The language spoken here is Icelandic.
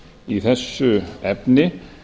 í þessu efni